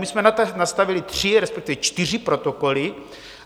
My jsme nastavili tři, respektive čtyři protokoly.